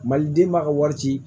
Maliden b'a ka wari ci